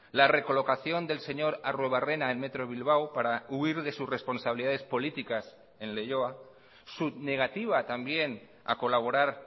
la recolocación del señor arruebarrena en metro bilbao para huir de sus responsabilidades políticas en leioa su negativa también a colaborar